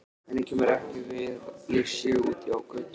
Henni kemur ekki við hvað ég sé úti á götu.